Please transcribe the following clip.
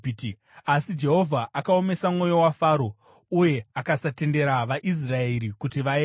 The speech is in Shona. Asi Jehovha akaomesa mwoyo waFaro, uye akasatendera vaIsraeri kuti vaende.